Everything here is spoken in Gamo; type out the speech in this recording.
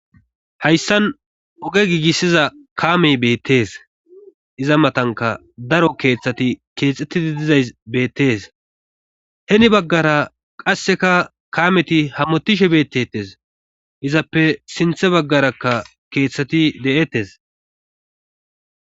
Hayssan oge giigissiza kaamey beettees iza matanka daro keeththati keexettidi dizays beettes heni baggara qasseka kaameti hamotishe beettettes izappe sinthe baggarakka keeththati de'ettes.